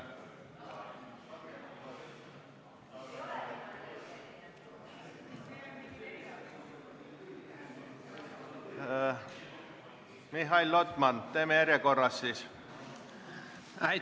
Mihhail Lotman, teeme järjekorras siis!